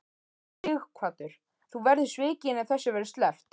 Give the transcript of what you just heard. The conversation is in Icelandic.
Sighvatur: Þú verður svikin ef þessu verður sleppt?